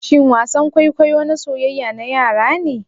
shin wasan kwaikwayo na soyyaya na yara ne?